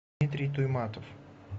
дмитрий туйматов